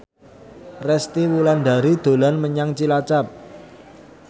Resty Wulandari dolan menyang Cilacap